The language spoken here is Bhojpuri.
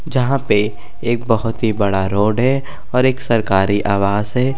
जहाँ पे एक बहुत ही बड़ा रोड है और एक सरकारी आवास है।